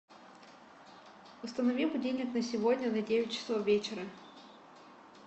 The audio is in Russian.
установи будильник на сегодня на девять часов вечера